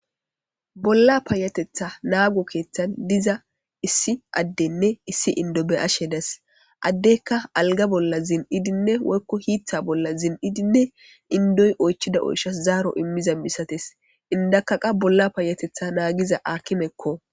bolla paayatetha naago keeththan diza issi addenne issi indo be ashe das addeykka alga bolla zin7idinne woykko hiitha bolla zin7idinne indoy oychida oyshas zaaro immiza misates indakaqa bolla paayatetha naagiza akimekko